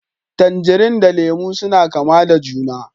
Tangarine da Lemu suna kama da juna